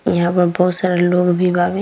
इहाँ पर बहुत सारा लोग भी बावे।